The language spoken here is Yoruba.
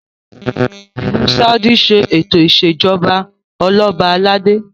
ilù Saudi ṣe eto ìṣèjọba Ọlọba aládé